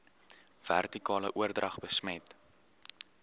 vertikale oordrag besmet